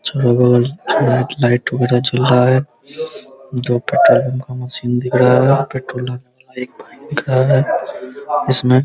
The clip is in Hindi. चारो बगल लाइट वगैरा जल रहा है दो पेट्रोल पम्प का मशीन दिख रहा है दिख रहा है इसमें --